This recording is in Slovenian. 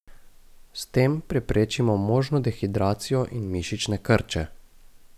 S tem preprečimo možno dehidracijo in mišične krče.